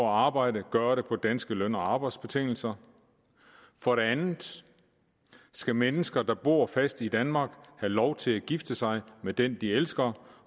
arbejde gøre det på danske løn og arbejdsbetingelser for det andet skal mennesker der bor fast i danmark have lov til at gifte sig med den de elsker